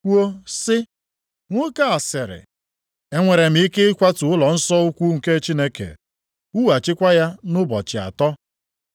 kwuo sị, “Nwoke a sịrị, ‘Enwere m ike ịkwatu ụlọnsọ ukwu nke Chineke, wughachikwa ya nʼụbọchị atọ. ’”